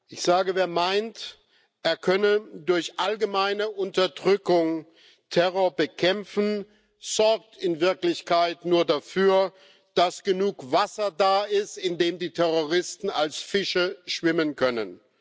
Ich sage, wer meint, er könne durch allgemeine Unterdrückung Terror bekämpfen, sorgt in Wirklichkeit nur dafür, dass genug Wasser da ist, in dem die Terroristen als Fische schwimmen können.